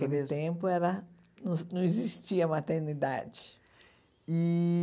Aquele tempo era não não existia maternidade. E